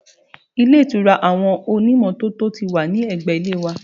Ilé ìtura àwọn onímọ́tò ti wà ní ẹgbẹ́ ilé wa